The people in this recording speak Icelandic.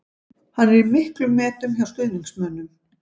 Hann er í miklum metum hjá stuðningsmönnum.